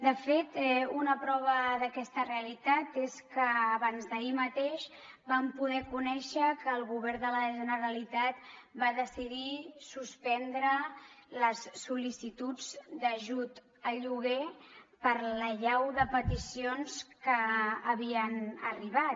de fet una prova d’aquesta realitat és que abansd’ahir mateix vam poder conèixer que el govern de la generalitat va decidir suspendre les sol·licituds d’ajut al lloguer per l’allau de peticions que havien arribat